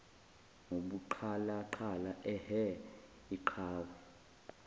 ngobuqhalaqhala ehhe iqhawe